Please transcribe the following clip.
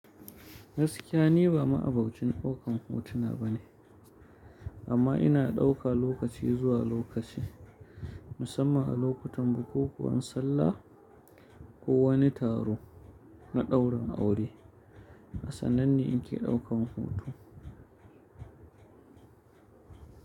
Gaskiya ni ba ma'abocin ɗaukan hotuna ba ne, amma ina ɗauka lokaci zuwa lokaci, musamman a lokutan bukukuwan sallah, ko wani taro na daurin aure, asannane nake ɗaukan hoto.